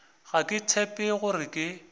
ga ke tshepe gore ke